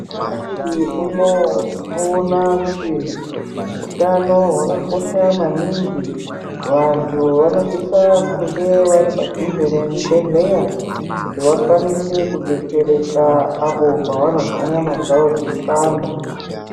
Nyamashi unowu tinoona kuti utano hwakakosha maningi, vantu vanosisa kunge vari padhuze nezvibhedhleya kuti vakwanise kudetsereka apo pavanozwa nyama dzavo dzeipanda.